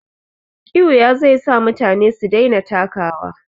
Ƙiuya zai sa mutane su daina takawa.